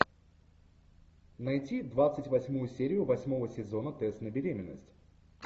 найти двадцать восьмую серию восьмого сезона тест на беременность